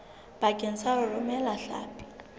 bakeng sa ho romela hlapi